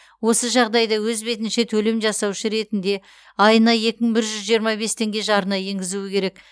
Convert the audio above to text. осы жағдайда өз бетінше төлем жасаушы ретінде айына екі мың бір жүз жиырма бес теңге жарна енгізуі керек